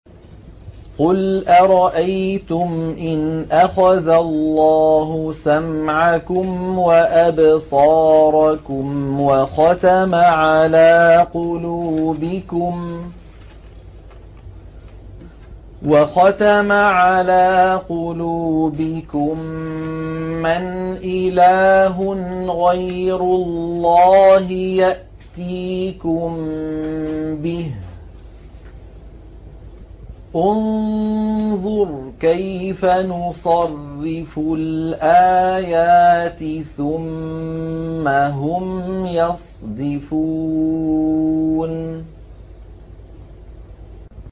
قُلْ أَرَأَيْتُمْ إِنْ أَخَذَ اللَّهُ سَمْعَكُمْ وَأَبْصَارَكُمْ وَخَتَمَ عَلَىٰ قُلُوبِكُم مَّنْ إِلَٰهٌ غَيْرُ اللَّهِ يَأْتِيكُم بِهِ ۗ انظُرْ كَيْفَ نُصَرِّفُ الْآيَاتِ ثُمَّ هُمْ يَصْدِفُونَ